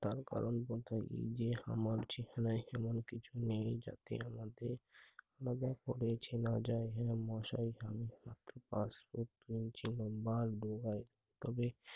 তার কর্মপন্থা উম যে হামার যেকোন স্থানে আমাকে চলে যাতে লাগবে, আলাদা করেছে না যাওয়ার ভয়ে মশারি তবে